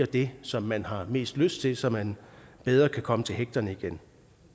det som man har mest lyst til så man bedre kan komme til hægterne igen